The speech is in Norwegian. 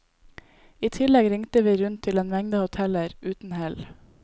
I tillegg ringte vi rundt til en mengde hoteller, uten hell.